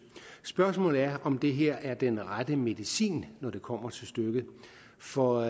spørgsmålet er om det her er den rette medicin når det kommer til stykket for